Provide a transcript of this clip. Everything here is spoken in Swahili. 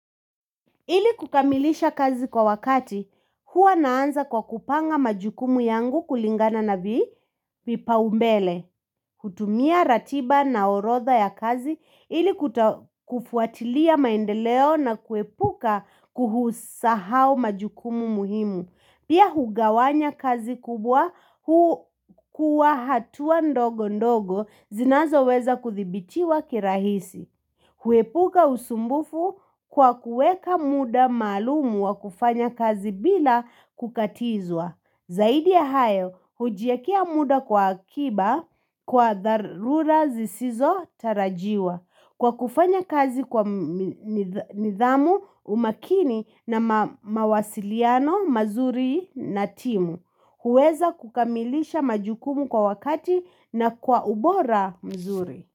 Ili kukamilisha kazi kwa wakati, huwa naanza kwa kupanga majukumu yangu kulingana na vipaumbele. Kutumia ratiba na orotha ya kazi, ili kufuatilia maendeleo na kuepuka, kusahau majukumu muhimu. Pia hugawanya kazi kubwa, huu kuchukua hatua ndogo ndogo zinazoweza kuthibitiwa kirahisi. Huepuka usumbufu kwa kuweka muda maalum wa kufanya kazi bila kukatizwa. Zaidi ya hayo hujiekea muda kwa akiba kwa dharura zisizo tarajiwa. Kwa kufanya kazi kwa nidhamu. Umakini na mawasiliano mazuri na timu. Huweza kukamilisha majukumu kwa wakati na kwa ubora mzuri.